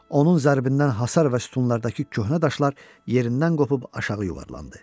Onun zərbəsindən hasar və sütunlardakı köhnə daşlar yerindən qopub aşağı yuvarlandı.